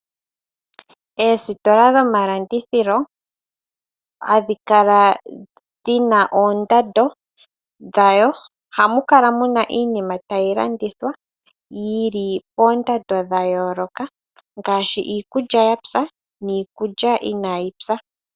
Oositola dhomalandithilo ohadhikala dhina oondando dhayo, ohamu kala muna iinima tayi landithwa yili koondando dhayooloka ngaashi iikulya yapya niikulya inayipya.